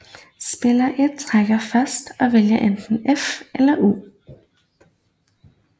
Spiller 1 trækker først og vælger enten F eller U